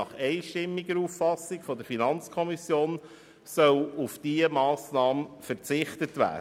Nach einstimmiger Auffassung der FiKo soll auf diese Massnahme verzichtet werden.